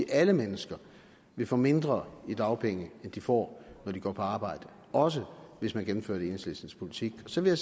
at alle mennesker vil få mindre i dagpenge end de får når de går på arbejde også hvis man gennemfører enhedslistens politik så vil